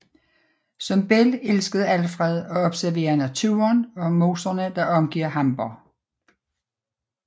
Som barn elskede Alfred at observere naturen og moserne der omgiver Hamborg